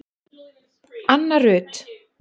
Anna Rut.